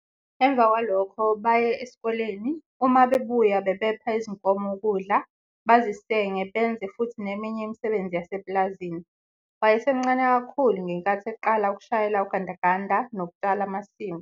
Emva kwalokho baye esikoleni, uma bebuya bebepha izinkomo ukudla, bazisenge benze futhi neminye imisebenzi yasepulazini. Wayesemncane kakhulu ngenkathi eqala ukushayela ugandaganda nokutshala amasimu.